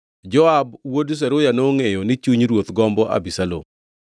Joab wuod Zeruya nongʼeyo ni chuny ruoth gombo Abisalom.